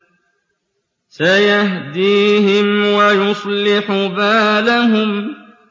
سَيَهْدِيهِمْ وَيُصْلِحُ بَالَهُمْ